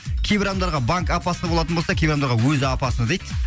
кейбір адамдарға банк опасно болатын болса кейбір адамдарға өзі опасно дейді